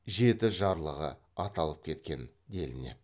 жеті жарлығы аталып кеткен делінеді